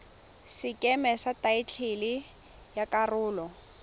sekeme sa thaetlele ya karolo